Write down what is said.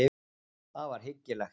Það var hyggilegt.